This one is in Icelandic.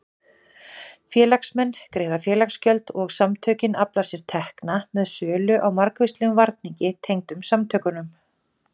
Félagsmenn greiða félagsgjöld og samtökin afla sér tekna með sölu á margvíslegum varningi tengdum samtökunum.